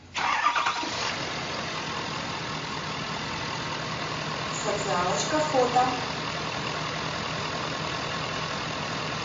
социалочка фото